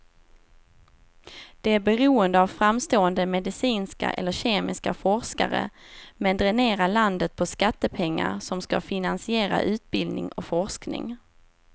Det är beroende av framstående medicinska eller kemiska forskare, men dränerar landet på skattepengar som ska finansiera utbildning och forskning.